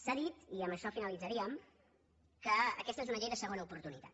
s’ha dit i amb això finalitzaríem que aquesta és una llei de segona oportunitat